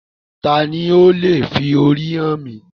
Taani ó leè fi orí hàn mí?